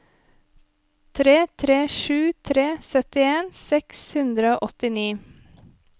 tre tre sju tre syttien seks hundre og åttini